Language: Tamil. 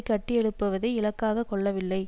கட்டியெழுப்புவதை இலக்காக கொள்ளவில்லை